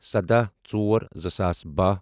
سَداہ ژور زٕ ساس باہ